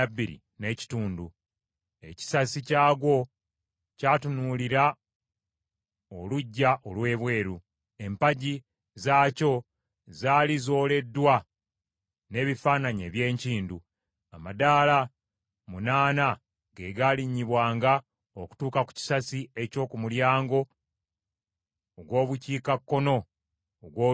Ekisasi kyagwo kyatunuulira oluggya olw’ebweru. Empagi zaakyo zaali zooleddwa n’ebifaananyi eby’enkindu. Amadaala munaana ge gaalinnyibwanga okutuuka ku kisasi eky’oku mulyango ogw’Obukiikakkono ogw’oluggya olw’omunda.